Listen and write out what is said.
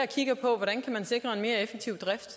kigger på hvordan man kan sikre en mere effektiv drift